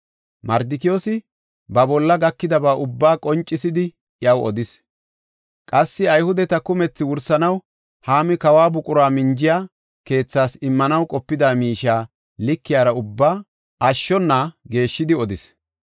Mardikiyoosi, ba bolla gakidaba ubbaa qoncisidi, iyaw odis. Qassi Ayhudeta kumethi wursanaw Haami kawo buqura minjiya keethaas immanaw qopida miishiya likiyara ubbaa ashshona geeshshidi odis.